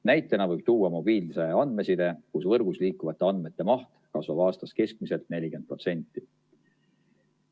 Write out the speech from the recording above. Näitena võib tuua mobiilse andmeside, kus võrgus liikuvate andmete maht kasvab aastas keskmiselt 40%.